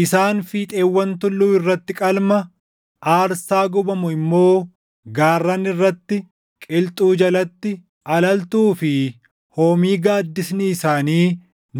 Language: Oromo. Isaan fiixeewwan tulluu irratti qalma, aarsaa gubamu immoo gaarran irratti, qilxuu jalatti, alaltuu fi hoomii gaaddisni isaanii